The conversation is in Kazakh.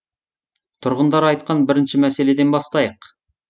тұрғындар айтқан бірінші мәселеден бастайық